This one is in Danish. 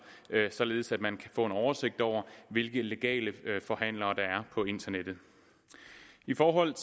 således at man kan få en oversigt over hvilke legale forhandlere der er på internettet i forhold